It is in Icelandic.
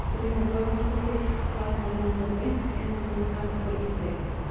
Brynja Þorgeirsdóttir: Þá hefði hann farið beint inn um gluggann og í þig?